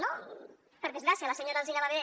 no per desgràcia la senyora alsina va haver